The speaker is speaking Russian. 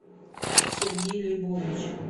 сергей лейбович